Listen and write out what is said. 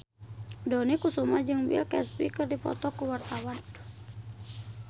Dony Kesuma jeung Bill Cosby keur dipoto ku wartawan